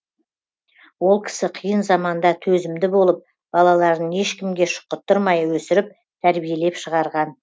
ол кісі қиын заманда төзімді болып балаларын ешкімге шұқыттырмай өсіріп тәрбиелеп шығарған